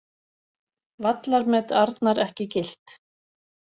Vallarmet Arnar ekki gilt